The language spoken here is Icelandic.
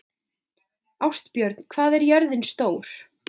Ástbjörn, hvað er jörðin stór?